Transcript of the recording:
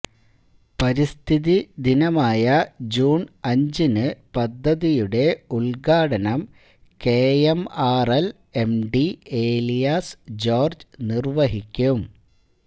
പരിസ്ഥിതി ദിനമായ ജൂണ് അഞ്ചിന് പദ്ധതിയുടെ ഉദ്ഘാടനം കെഎംആര്എല് എംഡി ഏലിയാസ് ജോര്ജ്ജ് നിര്വഹിക്കും